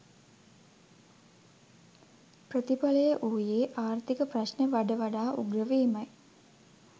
ප්‍රතිඵලය වූයේ ආර්ථික ප්‍රශ්න වඩ වඩා උග්‍ර වීමයි